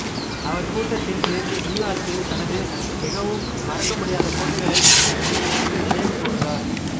அவர் கூட்டத்தில் பேசி நியூயார்க்கில் தனது மிகவும் மறக்கமுடியாத போட்டிகளைப் பற்றி சற்று நினைவுகூர்ந்தார்